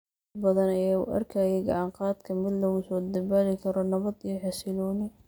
Dad badan ayaa u arkayay gacan-qaadka mid lagu soo dabaali karo nabad iyo xasillooni.